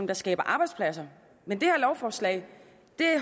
der skaber arbejdspladser men det her lovforslag